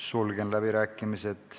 Sulgen läbirääkimised.